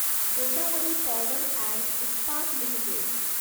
Godavari power and Ispat limited